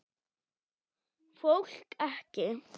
Fólk ekki.